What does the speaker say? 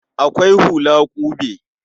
Akwai hula ƙube.